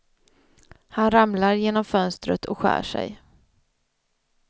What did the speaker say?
Han ramlar genom fönstret och skär sig.